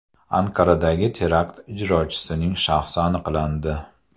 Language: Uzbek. Anqaradagi terakt ijrochisining shaxsi aniqlandi.